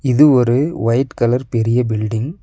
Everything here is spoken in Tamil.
இது ஒரு ஒயிட் கலர் பெரிய பில்டிங் .